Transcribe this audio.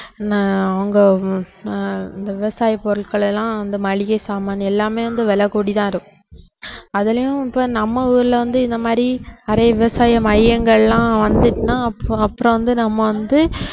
ஆஹ் அவங்க அஹ் விவசாய பொருட்கள் எல்லாம் வந்து மளிகை சாமான் எல்லாமே வந்து விலை கூடி தான் இருக்கும் அதுலயும் இப்ப நம்ம ஊர்ல வந்து இந்த மாதிரி நிறைய விவசாய மையங்கள்லாம் வந்துடுச்சுன்னா அப்புற~ அப்புறம் வந்து நம்ம வந்து